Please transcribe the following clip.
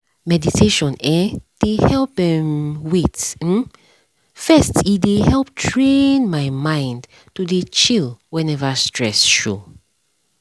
meditation[um]dey help um wait um first e um dey help train my mind to dey chill whenever stress show